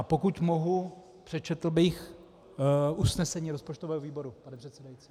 A pokud mohu, přečetl bych usnesení rozpočtového výboru, pane předsedající.